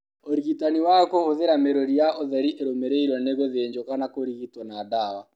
ũrigitani wa kũhũthĩra mĩrũri ya ũtheri ĩrumũmĩrĩrwo nĩ gũthĩnjwo kana kũrigitwo na ndawa.